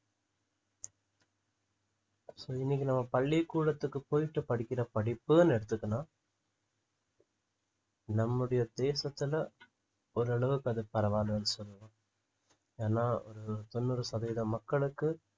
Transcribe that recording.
so இன்னைக்கு நம்ம பள்ளிக்கூடத்துக்கு போயிட்டு படிக்கிற படிப்புன்னு எடுத்துக்கணும் நம்முடைய தேசத்துல ஓரளவுக்கு அது பரவாயில்லைன்னு சொல்லலாம் ஏன்னா ஒரு தொண்ணூறு சதவீத மக்களுக்கு